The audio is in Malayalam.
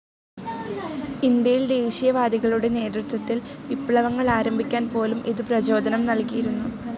ഇന്ത്യയിൽ ദേശീയവാദികളുടെ നേതൃത്വത്തിൽ വിപ്ലവങ്ങൾ ആരംഭിക്കാൻ പോലും ഇത് പ്രചോദനം നൽകിയിരുന്നു.